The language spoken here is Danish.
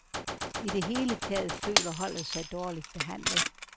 I det hele taget føler holdet sig dårligt behandlet.